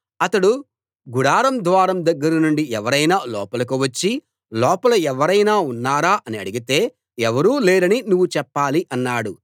అతడు గుడారం ద్వారం దగ్గర నుండి ఎవరైనా లోపలికి వచ్చి లోపల ఎవరైనా ఉన్నారా అని అడిగితే ఎవరూ లేరని నువ్వు చెప్పాలి అన్నాడు